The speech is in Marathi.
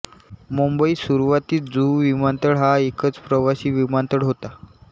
मुंबईत सुरुवातीस जुहू विमानतळ हा एकच प्रवासी विमानतळ होता